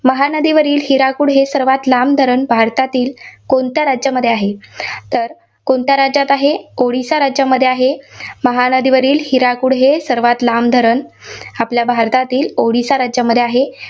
महानदीवरील हिराकूड हे सर्वांत लांब धरण भारतातील कोणत्या राज्यामध्ये आहे? तर कोणत्या राज्यात आहे? ओडिसा राज्यामध्ये आहे. महानदीवरील हिराकूड हे सर्वांत लांब धरण, आपल्या भारतातील ओडिसा राज्यामध्ये आहे.